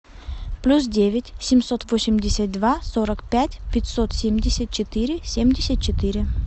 плюс девять семьсот восемьдесят два сорок пять пятьсот семьдесят четыре семьдесят четыре